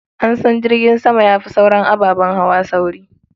An san jirgin sama ya fi sauran ababen hawa sauri.